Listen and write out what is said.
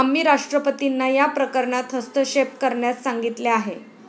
आम्ही राष्ट्रपतींना या प्रकरणात हस्तक्षेप करण्यास सांगितले आहे.